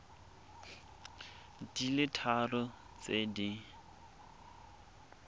di le tharo tse di